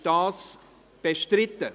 Ist das bestritten?